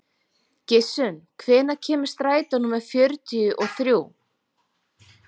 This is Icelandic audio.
Gissunn, hvenær kemur strætó númer fjörutíu og þrjú?